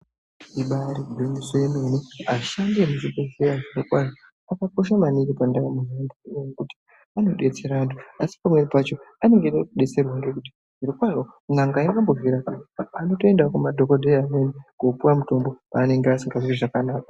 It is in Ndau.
Ibari gwinyiso yemene ashandi emuzvibhedhleya zviro kwazvo akakosha maningi pandarama yaantu ngendaa yekuti anodetsera antu asi pamweni pacho anenge eide kudetserwa ngekunge n'anga aingambozvirapi anotoendawo kumadhokodheya amwrni kopuwa mutombo paanenge asingazwi zvakanaka.